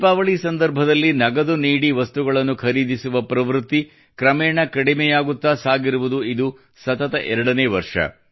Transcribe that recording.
ದೀಪಾವಳಿ ಸಂದರ್ಭದಲ್ಲಿ ನಗದು ನೀಡಿ ವಸ್ತುಗಳನ್ನು ಖರೀದಿಸುವ ಪ್ರವೃತ್ತಿ ಕ್ರಮೇಣ ಕಡಿಮೆಯಾಗುತ್ತಾ ಸಾಗಿರುವುದು ಇದು ಸತತ ಎರಡನೇ ವರ್ಷ